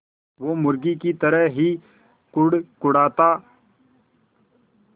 वो मुर्गी की तरह ही कुड़कुड़ाता